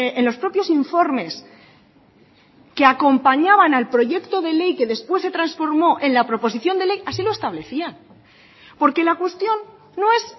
en los propios informes que acompañaban al proyecto de ley que después se transformó en la proposición de ley así lo establecía porque la cuestión no es